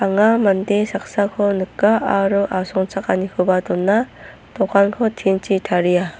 anga mande saksako nika aro asongchakanikoba dona dokanko tin-chi taria.